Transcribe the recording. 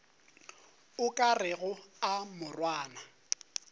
o ka rego a morwana